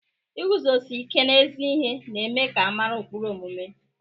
Iguzosi ike n'ezi ihe na-eme ka a mara ụkpụrụ omume.